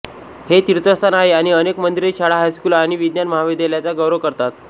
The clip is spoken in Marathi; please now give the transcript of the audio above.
हे तीर्थस्थान आहे आणि अनेक मंदिरे शाळा हायस्कूल आणि विज्ञान महाविद्यालयाचा गौरव करतात